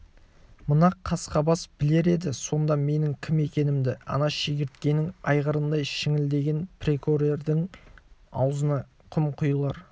мына қасқабас білер еді сонда менің кім екенімді ана шегірткенің айғырындай шіңкілдеген піркорердің аузына құм құйылар